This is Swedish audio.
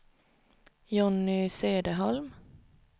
Jonny Söderholm